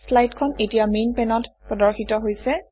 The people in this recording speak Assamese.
শ্লাইডখন এতিয়া মেইন পেনত প্ৰদৰ্শিত হৈছে